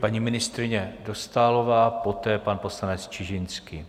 Paní ministryně Dostálová, poté pan poslanec Čižinský.